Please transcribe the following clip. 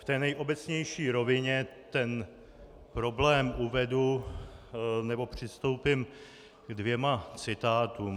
V té nejobecnější rovině ten problém uvedu nebo přistoupím ke dvěma citátům.